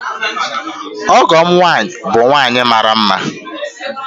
Ọgọ'm nwanyi, bu nwanyi mara nma